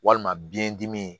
Walima biyɛn dimi